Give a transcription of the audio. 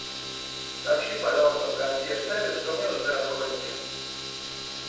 сообщи пожалуйста в консьерж сервис что мне нужны расходники